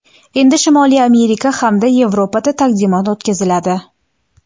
Endi Shimoliy Amerika hamda Yevropada taqdimot o‘tkaziladi.